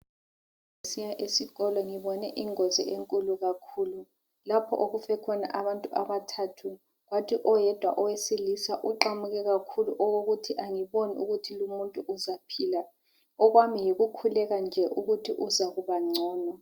Ngisiya esikolo ngibone ingozi enkulu kakhulu lapho okufe khona abantu abathathu kwathi oyedwa owesilisa oqamuke kakhulu okokuthi amboni ukuthi lumuntu uzaphila okwami yikukhuleka nje ukuthi uzakubangcono.